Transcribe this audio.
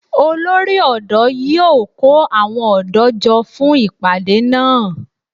Olórí ọ̀dọ́ yíó kó àwọn ọ̀dọ́ jọ fún ìpàdé náà